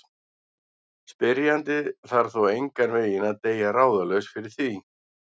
Spyrjandi þarf þó engan veginn að deyja ráðalaus fyrir því.